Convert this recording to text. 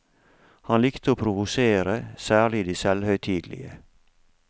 Han likte å provosere, særlig de selvhøytidelige.